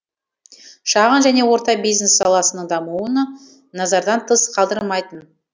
шағын және орта бюизнес саласының дамуын назардан тыс қалдырмайтын